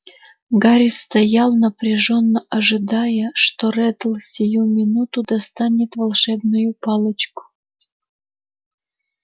гарри стоял напряжённо ожидая что реддл сию минуту достанет волшебную палочку